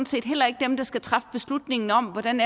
set heller ikke er dem der skal træffe beslutningen om hvordan